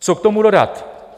Co k tomu dodat?